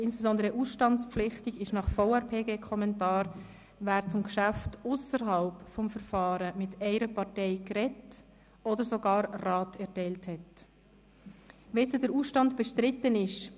Insbesondere ausstandspflichtig ist gemäss VRPGKommentar, wer zum Geschäft ausserhalb des Verfahrens mit einer Partei geredet oder ihr sogar 10